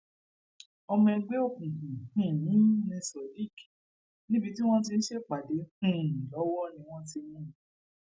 ọmọ ẹgbẹ òkùnkùn um ní sodiq níbi tí wọn ti ń ṣèpàdé um lọwọ ni wọn ti mú un